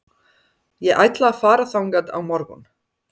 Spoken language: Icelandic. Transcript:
Ég ætla að fara þangað á morgun.